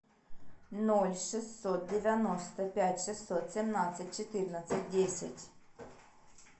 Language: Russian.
ноль шестьсот девяносто пять шестьсот семнадцать четырнадцать десять